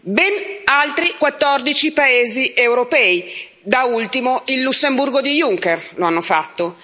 Ben altri quattordici paesi europei da ultimo il Lussemburgo di Juncker lo hanno fatto.